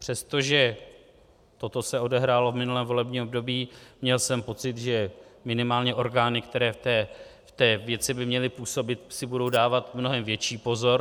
Přestože toto se odehrálo v minulém volebním období, měl jsem pocit, že minimálně orgány, které v té věci by měly působit, si budou dávat mnohem větší pozor.